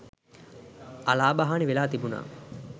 අලාභ හානි වෙලා තිබුණා.